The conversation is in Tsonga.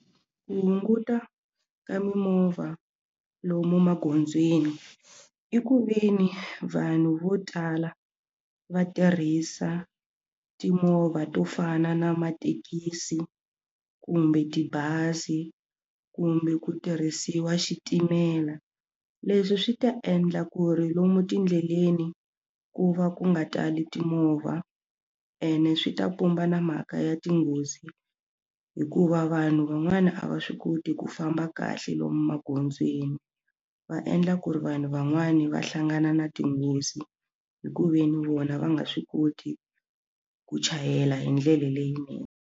Ku hunguta ka mimovha lomu magondzweni i ku ve ni vanhu vo tala va tirhisa timovha to fana na mathekisi kumbe tibazi kumbe ku tirhisiwa xitimela leswi swi ta endla ku ri lomu tindleleni ku va ku nga tali timovha ene swi ta pumba na mhaka ya tinghozi hikuva vanhu van'wana a va swi koti ku famba kahle lomu magondzweni va endla ku ri vanhu van'wani va hlangana na tinghozi hi ku ve ni vona va nga swi koti ku chayela hi ndlela leyinene.